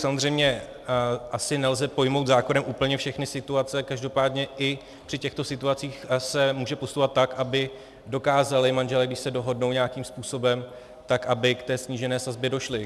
Samozřejmě asi nelze pojmout zákonem úplně všechny situace, každopádně i při těchto situacích se může postupovat tak, aby dokázali manželé, když se dohodnou nějakým způsobem, tak aby k té snížené sazbě došli.